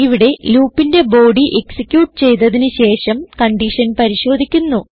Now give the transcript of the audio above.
ഇവിടെ loopന്റെ body execute ചെയ്തതിന് ശേഷം കൺഡിഷൻ പരിശോധിക്കുന്നു